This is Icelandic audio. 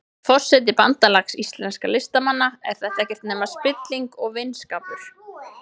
Forseti Bandalags íslenskra listamanna, er þetta ekkert nema spilling og vinskapur?